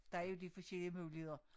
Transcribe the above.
Der er jo lidt forskellige muligheder